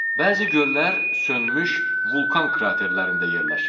Bəzi göllər sönmüş vulkan kraterlərində yerləşir.